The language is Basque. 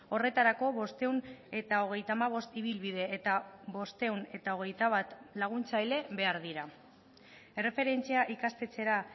horretarako bostehun eta hogeita hamabost ibilbide eta bostehun eta hogeita bat laguntzaile behar dira erreferentzia ikastetxera